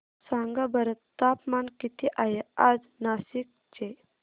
सांगा बरं तापमान किती आहे आज नाशिक चे